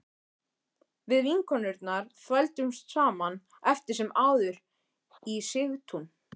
Við vinkonurnar þvældumst saman eftir sem áður í Sigtún